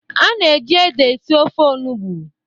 A na-eji ede esi ofe olugbo.